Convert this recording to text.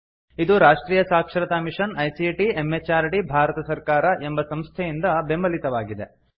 ಇದು ರಾಷ್ಟ್ರಿಯ ಸಾಕ್ಷರತಾ ಮಿಷನ್ ಐಸಿಟಿ ಎಂಎಚಆರ್ಡಿ ಭಾರತ ಸರ್ಕಾರ ಎಂಬ ಸಂಸ್ಥೆಯಿಂದ ಬೆಂಬಲಿತವಾಗಿದೆ